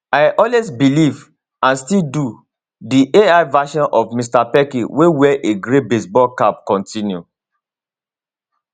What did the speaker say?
i always believe and i still do di ai verison of mr pelkey wey wear a grey baseball cap continue